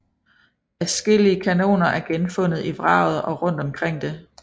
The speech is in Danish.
Adskillige kanoner er genfundet i vraget og rundt omkring det